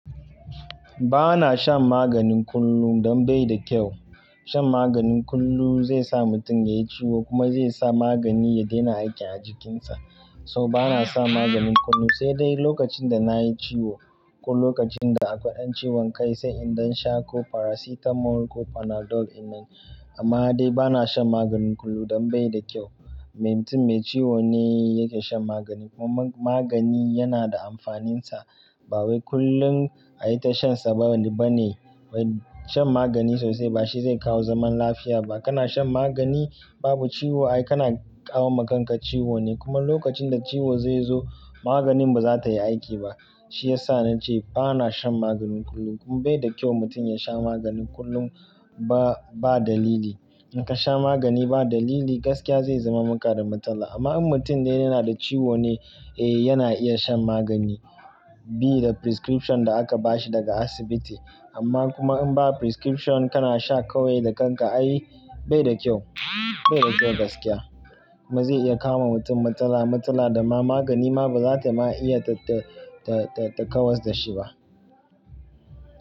Ba na shan maganin kullum don bai da kyau. Shan maganin kullum zai sa mutum ya yi ciwo kuma zai sa magani ya daina aikin a jikinsa. So bana shan maganin kullum, sai dai lokacin da na yi ciwo ko lokacin da akwai ɗan ciwon kai, sai in da sha ko paracetamol ko panadol inanyi. Amma dai bana shan maganin kullum don bai da kyau. Mai mutum mai ciwo ne yake shan magani. Kuma magani yana da amfaninsa. Ba wai kullum ayi ta shansa ba ne bane. Wai shan magani sosai ba shi zai kawo zaman lafiya ba. Kana shan magani babu ciwo ai kana kawo ma kanka ciwo ne. Kuma lokacin da ciwo zai zo maganin ba za ta yi aiki ba. Shi ya sa na ce bana shan maganin kullum. Bai da kyau mutum ya sha magani kullum ba, ba dalili. In ka sha magani ba dalili gaskiya zai zama maka da matsala. Amma in mutum dai yana da ciwo ne, eh yana iya shan magani bi da prescription da aka ba shi daga asibiti. Amma kuma in ba prescription kana sha kawai da kanka ai bai da kyau, bai da kyau gaskiya. Kuma zai iya kawo wa mutum matsala, matsala da ma magani ma ba za ta ma iya ta, ta, ta, ta kawar da shi ba.